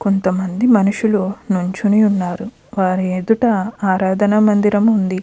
కొంతమంది మనుషులు నించుని ఉన్నారు. వాళ్ళ ఎదుట ఆరాధన మందిరము ఉంది.